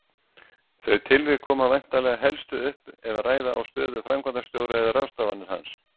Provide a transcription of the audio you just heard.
Þau tilvik koma væntanlega helstu upp ef ræða á stöðu framkvæmdastjóra eða ráðstafanir hans.